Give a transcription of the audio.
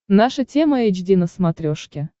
наша тема эйч ди на смотрешке